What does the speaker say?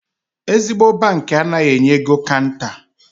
Ezigbo bankị anaghị enye ego kanta.